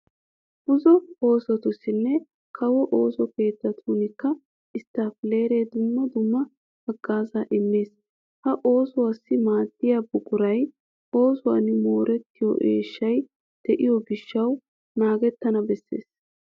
Buzo oosotussinne kawo ooso keettatuunikka isttiippileeree dumma dumma haggaazaa immees. Ha oosuwassi maaddiya buquray eesuwan moorettiyo eeshshay de'iyo gishshawu naagettana bessees.